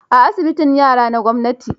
A asibitin yara na gwamnati